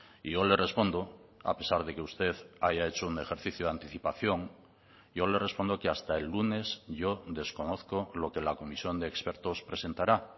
y yo le respondo a pesar de que usted haya hecho un ejercicio de anticipación yo le respondo que hasta el lunes yo desconozco lo que la comisión de expertos presentará